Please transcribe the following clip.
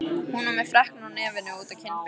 Hún var með freknur á nefinu og út á kinnbeinin.